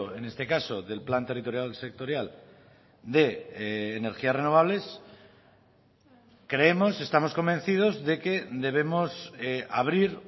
en este caso del plan territorial sectorial de energías renovables creemos estamos convencidos de que debemos abrir